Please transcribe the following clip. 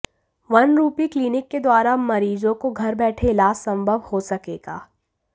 one rupee clinic के द्वारा अब मरीजों को घर बैठे इलाज संभव हो सकेगा